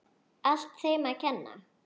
Allt þeim að kenna.!